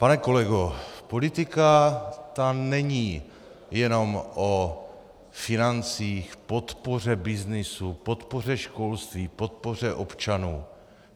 Pane kolego, politika, ta není jenom o financích, podpoře byznysu, podpoře školství, podpoře občanů.